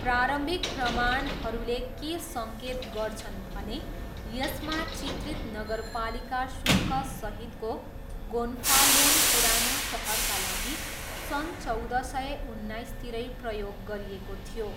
प्रारम्भिक प्रमाणहरूले के सङ्केत गर्छन् भने यसमा चित्रित नगरपालिका शुल्क सहितको गोन्फालोन पुरानो सहरका लागि सन् चौध सय उन्नाइसतिरै प्रयोग गरिएको थियो।